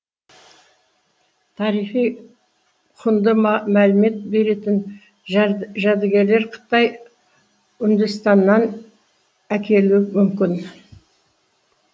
тарихи құнды мәлімет беретін жәдігерлер қытай үндістаннан әкелуі мүмкін